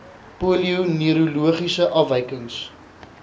polio neurologiese afwykings